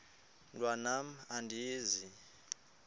mntwan am andizi